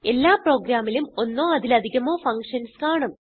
എല്ലാ പ്രോഗ്രാമിലും ഒന്നോ അതിലധികമോ ഫങ്ഷൻസ് കാണും